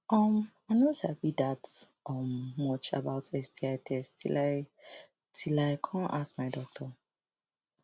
i no sabi that um much about sti test till i till i come ask my doctor